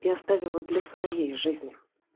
и оставила для своей жизни